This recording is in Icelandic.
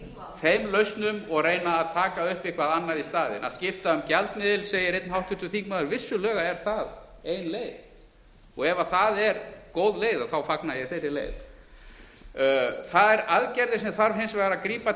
þeim lausnum og reyna að taka upp eitthvað annað í staðinn að skipta um gjaldmiðil segir einn háttvirtur þingmaður vissulega er það ein leið og ef það er góð leið fagna ég þeirri leið þær aðgerðir sem þarf hins vegar að grípa